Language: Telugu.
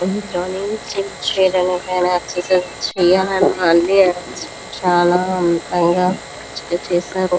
ఎక్సర్సిస్ చేయాలి అని చానా చేసారు.